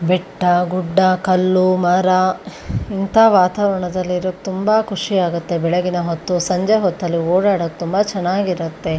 ಬೆಟ್ಟಗುಡ್ಡ ಕಲ್ಲು ಮರ ಇಂತ ವಾತಾವರಣದಲ್ಲಿರೊ ತುಂಬಾ ಖುಷಿ ಆಗುತ್ತೆ ಬೆಳಗಿನ ಹೊತ್ತು ಸಂಜೆ ಹೊತ್ತಲ್ಲು ಓಡಾಡಕ್ಕೆ ತುಂಬಾ ಚನ್ನಾಗಿರುತ್ತೆ.